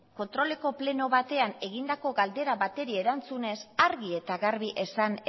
kontroleko pleno batean egindako galdera bati erantzunez argi eta garbi esan